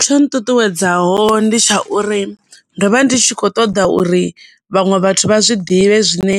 Tsho nṱuṱuwedzaho ndi tsha uri ndo vha ndi tshi kho ṱoḓa uri vhaṅwe vhathu vha zwiḓivhe zwine